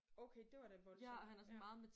Okay det var da voldsomt ja